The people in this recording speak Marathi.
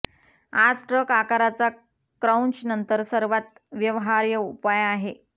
आज ट्रक आकाराचा क्रौंच नंतर सर्वात व्यवहार्य उपाय आहे